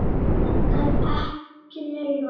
En ekki meira.